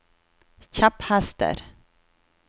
kjepphester